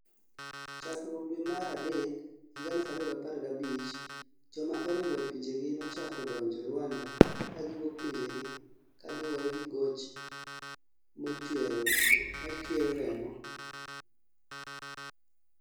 chakruok due mar adek 2015, joma oring'o pinjegi nochako donjo Ruanda ka giwuok pinjegi galuwore gi goch machuero reko